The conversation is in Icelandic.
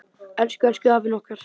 Elsku, elsku afinn okkar.